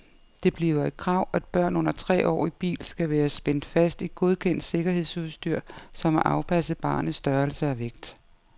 Det bliver et krav, at børn under tre år i bil skal være spændt fast i godkendt sikkerhedsudstyr, som er afpasset barnets størrelse og vægt.